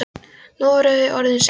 Nú voru þau aftur orðin ein.